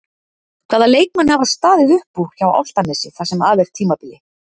Hvaða leikmenn hafa staðið upp úr hjá Álftanesi það sem af er tímabili?